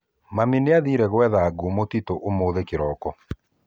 Mami nĩathire gwetha ngũ mũtitũ ũmũthĩ kĩroko